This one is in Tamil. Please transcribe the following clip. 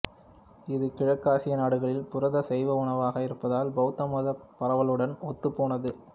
இது கிழக்காசிய நாடுகளில் புரத சைவ உணவாக இருப்பதால் பௌத்த மத பரவலுடன் ஒத்துப் போனது